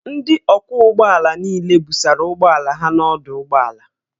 Ndị ọkwọ ụgbọ ala niile busara ụgbọala ha n'ọdụ ụgbọ ala